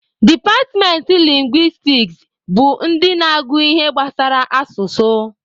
Departmentị lingwistiks bụ ndị na-agụ ihe gbasara asụsụ.